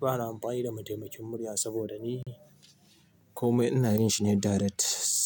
Ba na amfani da mataimakin murya saboda ni kome ina yin shi ne direct